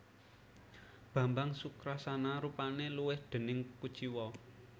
Bambang Sukrasana rupane luwih déning kuciwa